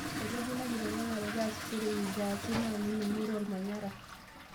Etejo ina kiteng'enare pee easishoreki nkiasin naa ning'ore olmanyara